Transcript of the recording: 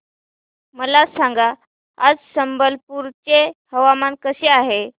मला सांगा आज संबलपुर चे हवामान कसे आहे